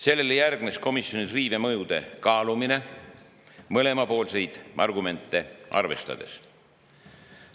Sellele järgnes komisjonis riive mõjude kaalumine mõlemapoolseid argumente arvestades.